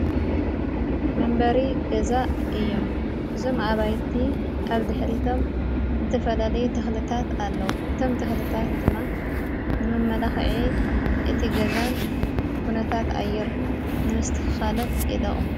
መንበሪ ገዛ እዮም እዞም ኣባይቲ ኣብ ድኅሊቶም ዝተፈላለይ ተኽለታት ኣለዉ እቶም ተኽለታት ድማ ንመመላኽዒ እቲ ገዛን ኲነታት ኣየር ንምስተኻልን የጠቑም።